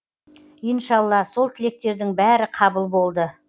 иншалла сол тілектердің бәрі қабыл болды